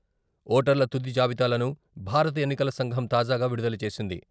ఓటర్ల తుది జాబితాలను భారత ఎన్నికల సంఘం తాజాగా విడుదల చేసింది.